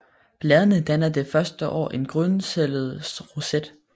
Bladene danner det første år en grundstillet roset